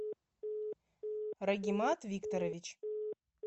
рагимат викторович